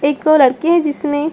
एक लड़के हैं जिसने --